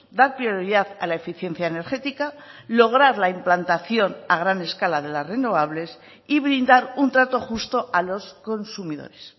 da prioridad a la eficiencia energética lograr la implantación a gran escala de las renovables y brindar un trato justo a los consumidores